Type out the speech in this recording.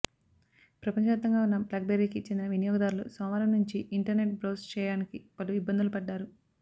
ప్రపంచవ్యాప్తంగా ఉన్న బ్లాక్బెర్రీకి చెందిన వినియోగదారులు సోమవారం నుంచి ఇంటర్నేట్ బ్రౌజ్ చేయానికి పలు ఇబ్బందులు పడ్డారు